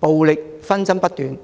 暴力紛爭不斷。